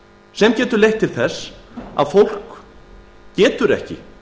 sem getur leitt til þess að fólk geti ekki